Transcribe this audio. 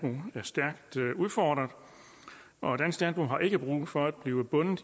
udfordret og dansk landbrug har ikke brug for at blive bundet